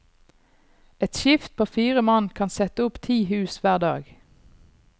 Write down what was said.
Et skift på fire mann kan sette opp ti hus hver dag.